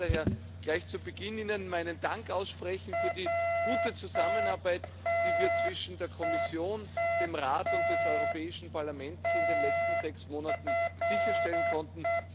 Ich möchte Ihnen daher gleich zu Beginn meinen Dank aussprechen für die gute Zusammenarbeit, die wir zwischen der Kommission, dem Rat und dem Europäischen Parlament in den letzten sechs Monaten sicherstellen konnten.